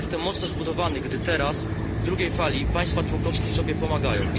Jestem mocno zbudowany, gdy teraz, w drugiej fali, państwa członkowskie sobie pomagają.